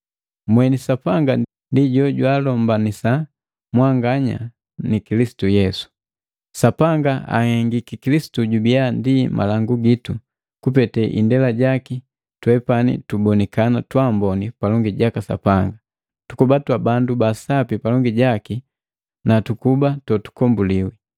Mweni Sapanga ndi jojwaalombanisa mwanganya na Kilisitu Yesu. Sapanga ahengiki Kilisitu jubiya ndi malangu gitu, kupete indela jaki twepani tubonikana twamboni palongi jaka Sapanga, tukuba twa bandu ba Sapi palongi jaki nu tukuba totukombuliwi.